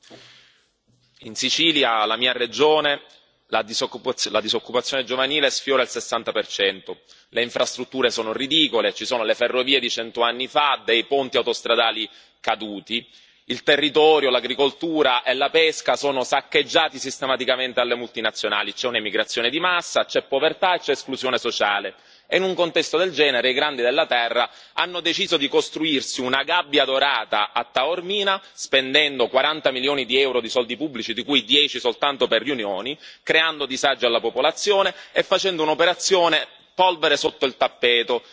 Signora Presidente, onorevoli colleghi, in Sicilia, la mia regione, la disoccupazione giovanile sfiora il 60 per cento, le infrastrutture sono ridicole, ci sono le ferrovie di cento anni fa, ponti autostradali caduti, il territorio, l'agricoltura e la pesca sono saccheggiati sistematicamente dalle multinazionali, c'è un'emigrazione di massa, c'è povertà e c'è esclusione sociale e in un contesto del genere i grandi della Terra hanno deciso di costruirsi una gabbia dorata a Taormina, spendendo 40 milioni di euro di soldi pubblici, di cui 10 soltanto per riunioni, creando disagi alla popolazione e facendo un'operazione polvere sotto il tappeto,